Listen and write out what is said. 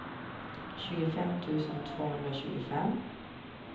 tjugofem tusen tvåhundratjugofem